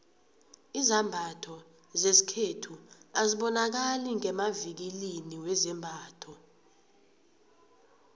izambatho zesikhethu azibonakali ngemavikilini wezambatho